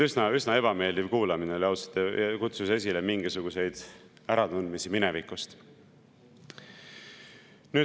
Üsna ebameeldiv kuulamine oli, ausalt, kutsus esile mingisuguseid äratundmisi minevikust.